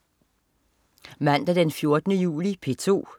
Mandag den 14. juli - P2: